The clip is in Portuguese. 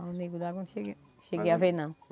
Mas o Nego d'água eu não cheguei cheguei a ver, não.